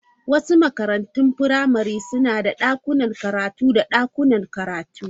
Wasu makarantun firamare suna da dakunan karatu da dakunan karatu.